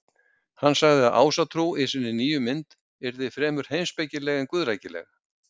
Hann sagði að Ásatrú í sinni nýju mynd yrði fremur heimspekileg en guðrækileg.